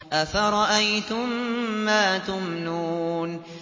أَفَرَأَيْتُم مَّا تُمْنُونَ